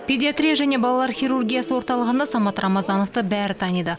педиатрия және балалар хирургиясы орталығында самат рамазановты бәрі таниды